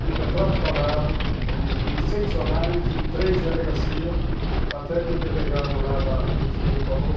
Com o retrato falado em seccionais e três delegacias, até que o delegado lá da vinte e um falou.